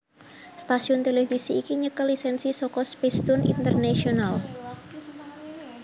Stasiun televisi iki nyekel lisensi saka Spacetoon International